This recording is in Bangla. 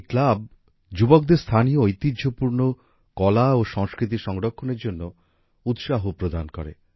এই ক্লাব যুবকদের স্থানীয় ঐতিহ্যপূর্ণ কলা ও সংস্কৃতি সংরক্ষণের জন্য উৎসাহ প্রদান করে